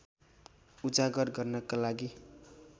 उजागर गर्नका लागि